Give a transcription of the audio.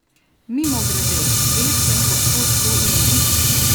Mimogrede, veste, od kod to ime?